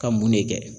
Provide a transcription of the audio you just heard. Ka mun ne kɛ